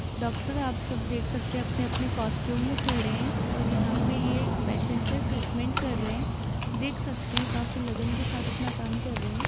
doctor आप सब देख सकते अपने अपने कॉस्ट्यूम में खड़े हैं और यहां पे ये एक पेशेंट का ट्रीटमेंट कर रहे हैं देख सकते हैं काफी लगन के साथ अपना काम कर रहें --